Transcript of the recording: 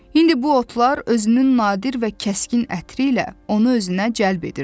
İndi bu otlar özünün nadir və kəskin ətri ilə onu özünə cəlb edirdi.